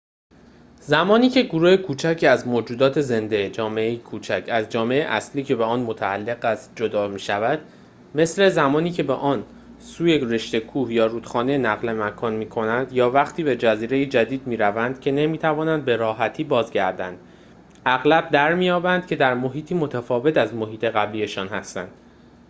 زمانی که گروه کوچکی از موجودات زنده جامعه‌ای کوچک از جامعه اصلی که به آن متعلق است جدا می‌شود مثل زمانی که به آن سوی رشته کوه یا رودخانه نقل مکان می‌کنند، یا وقتی به جزیره‌ای جدید می‌روند که نمی‌توانند به‌راحتی بازگردند، اغلب درمی‌یابند که در محیطی متفاوت از محیط قبلی‌شان هستند